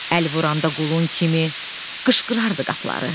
Əl vuranda qulun kimi qışqırırdı qapıları.